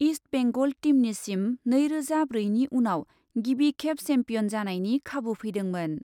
East Bengal टीमनिसिम नैरोजा ब्रैनि उनाव गिबिखेब चेम्पियन जानायनि खाबु फैदोंमोन।